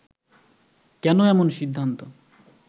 কেন এমন সিদ্ধান্ত